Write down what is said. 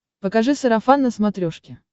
покажи сарафан на смотрешке